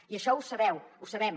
i això ho sabeu ho sabem